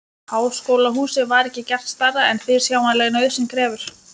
Háskólahúsið var ekki gert stærra en fyrirsjáanleg nauðsyn krefur.